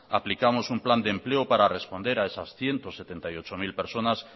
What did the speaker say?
aplicamos un plan de empleo para responder a esas ciento setenta y ocho mil persona